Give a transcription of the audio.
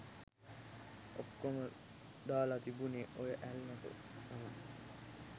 ඔක්කොම දාල තිබුණෙ ඔය ඇල්ලට තමයි.